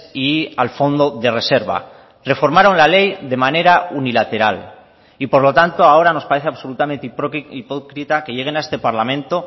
y al fondo de reserva reformaron la ley de manera unilateral y por lo tanto ahora nos parece absolutamente hipócrita que lleguen a este parlamento